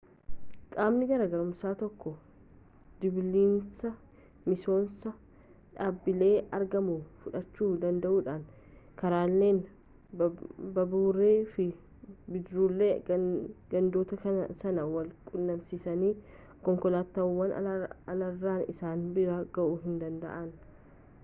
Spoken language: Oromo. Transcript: qaamni gaarummaasaa tokko dhibiinsa misooma dhaabbilee argamuu fudhachu danda'uudha karaaleen baaburri fi bidiruuleen gandoota san wal-quunnamsiisan konkolaataawwan alarraan isaan bira ga'uu hin danda'an